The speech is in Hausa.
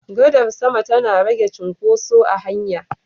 Gadar sama tana rage cin koso a hanya